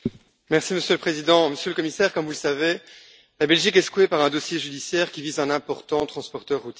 Monsieur le Président, Monsieur le Commissaire, comme vous le savez, la Belgique est secouée par un dossier judiciaire qui vise un important transporteur routier.